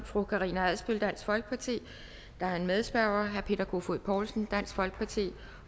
af fru karina adsbøl dansk folkeparti og der er en medspørger herre peter kofod poulsen dansk folkeparti